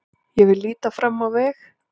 Ég vil líta fram á veg.